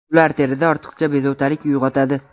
ular terida ortiqcha bezovtalik uyg‘otadi.